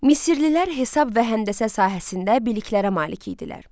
Misirlilər hesab və həndəsə sahəsində biliklərə malik idilər.